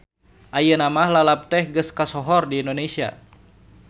Ayeuna mah lalab teh geus kasohor di Indonesia.